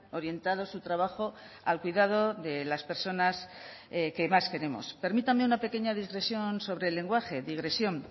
orientado su trabajo al cuidado de las personas que más queremos permítame una pequeña digresión sobre el lenguaje digresión